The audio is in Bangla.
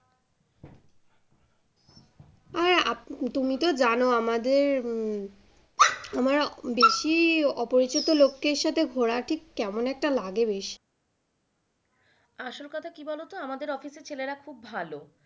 তুমি তো জানো আমাদের আমার বেশী অপরিচিত লোকের সাথে ঘোরা ঠিক কেমন একটা লাগে বেশ। আসল কথা কি বলোতো আমাদের অফিসে ছেলেরা খুব ভালো।